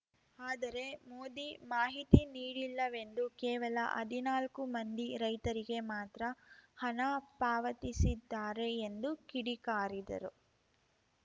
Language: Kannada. ಆದರೆ ಮೋದಿ ಮಾಹಿತಿ ನೀಡಿಲ್ಲವೆಂದು ಕೇವಲ ಹದಿನಾಲ್ಕು ಮಂದಿ ರೈತರಿಗೆ ಮಾತ್ರ ಹಣ ಪಾವತಿಸಿದ್ದಾರೆ ಎಂದು ಕಿಡಿಕಾರಿದರು